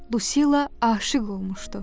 Lucila aşiq olmuşdu.